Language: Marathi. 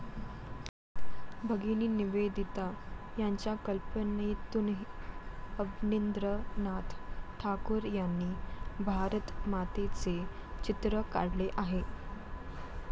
भगिनी निवेदिता यांच्या कल्पनेतून अवनींद्रनाथ ठाकूर यांनी भारतमातेचे चित्र काढले आहे.